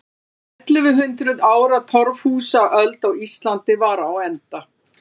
Ellefu hundruð ára torfhúsaöld á Íslandi var á enda.